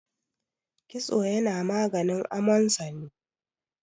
kitso yana maganin amonsani